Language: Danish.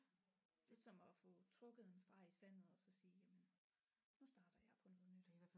Lidt som at få trukket en streg i sandet og så sige jamen nu starter jeg på noget nyt